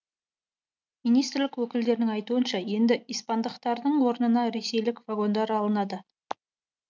министрлік өкілдерінің айтуынша енді испандықтардың орнына ресейлік вагондар алынады